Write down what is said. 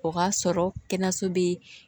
O k'a sɔrɔ kɛnɛyaso bɛ